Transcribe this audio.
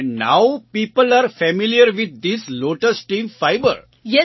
and now people are familiar with this lotus team fibre